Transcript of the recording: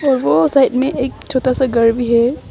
वो साइड में एक छोटा सा घर भी है।